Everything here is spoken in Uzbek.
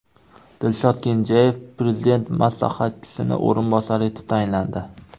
Dilshod Kenjayev Prezident maslahatchisining o‘rinbosari etib tayinlandi.